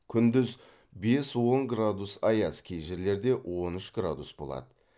күндіз бес он градус аяз кей жерлерде он үш градус болады